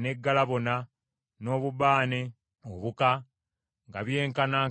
ne galabano, n’obubaane obuka, nga byenkanankana obuzito,